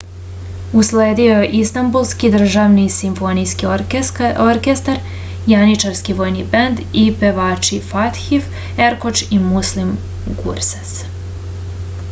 usledio je istambulski državni simfonijski orkestar janjičarski vojni bend i pevači fatih erkoč i muslum gurses